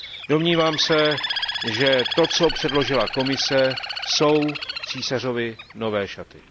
Domnívám se, že to, co předložila Komise, jsou Císařovy nové šaty.